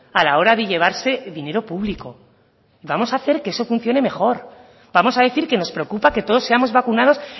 a la hora de llevarse dinero público vamos a hacer que eso funcione mejor vamos a decir que nos preocupa que todos seamos vacunados